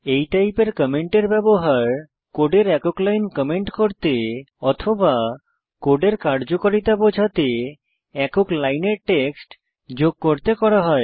এই টাইপের কমেন্টের ব্যবহার কোডের একক লাইন কমেন্ট করতে অথবা কোডের কার্যকারিতা বোঝাতে একক লাইনের টেক্সট যোগ করতে করা হয়